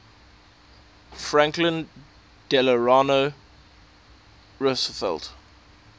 franklin delano roosevelt